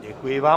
Děkuji vám.